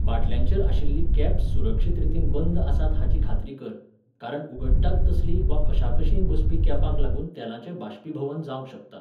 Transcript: बाटल्यांचेर आशिल्लीं कॅप्स सुरक्षीत रितीन बंद आसात हाची खात्री कर, कारण उगडटात तसलीं वा कशाकशींय बसपी कॅपांक लागून तेलाचें बाश्पीभवन जावंक शकता.